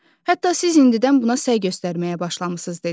hətta siz indidən buna səy göstərməyə başlamısınız dedi.